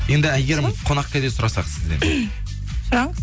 енді әйгерім қонақкәде сұрасақ сізден сұраңыз